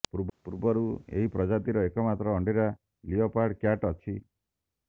ପୂର୍ବରୁ ଏହି ପ୍ରଜାତିର ଏକମାତ୍ର ଅଣ୍ଡିରା ଲିଓପାର୍ଡ କ୍ୟାଟ୍ ଅଛି